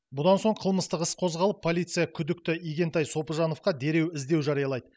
бұдан соң қылмыстық іс қозғалып полиция күдікті игентай сопыжановқа дереу іздеу жариялайды